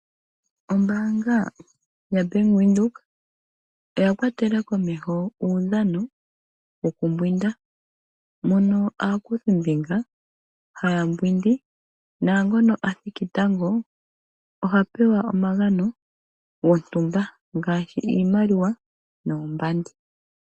Ombaanga yabank Windhoek oya kwatela komeho uunano wokumbwinda ,mono aakuthimbinga haya mbwindi naangono athiki tango oha pewa omagano gontumba ngashi iimaliwa noombandi.